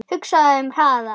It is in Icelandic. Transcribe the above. Hugsaðu um hraðann